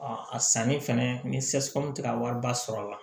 A a sanni fɛnɛ ni tɛ ka wariba sɔrɔ a la